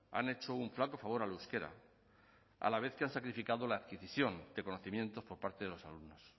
han hecho un flaco favor al euskera a la vez que han sacrificado la adquisición de conocimientos por parte de los alumnos